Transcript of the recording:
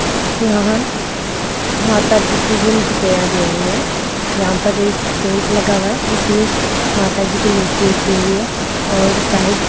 यहां माता जी पूजन की तैयारी हो रही है यहां पर एक टेंट लगा हुआ है जिसमें माता जी की मूर्ति रखी हुई है और साइड --